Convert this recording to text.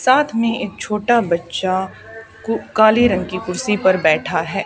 साथ में एक छोटा बच्चा को काले रंग की कुर्सी पर बैठा है।